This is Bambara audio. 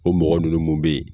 O mɔgɔ nunun mun bɛ ye.